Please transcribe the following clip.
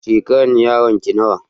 Shekaran yaron ka nawa?